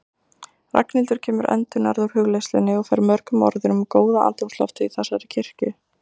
Ragnhildur kemur endurnærð úr hugleiðslunni og fer mörgum orðum um góða andrúmsloftið í þessari kirkju.